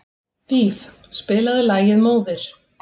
Víf, spilaðu lagið „Móðir“.